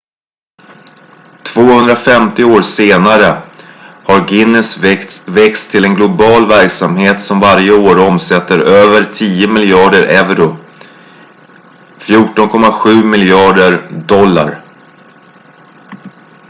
250 år senare har guinness växt till en global verksamhet som varje år omsätter över tio miljarder euro 14,7 miljarder usd